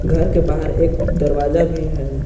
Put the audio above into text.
घर के बाहर एक दरवाजा भी है।